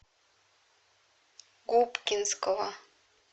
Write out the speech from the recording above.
губкинского